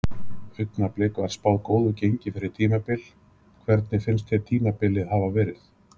Augnablik var spáð góðu gengi fyrir tímabil, hvernig finnst þér tímabilið hafa verið?